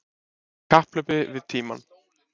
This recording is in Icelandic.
Í kapphlaupi við tímann